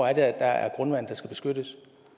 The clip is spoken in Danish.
er der er grundvand der skal beskyttes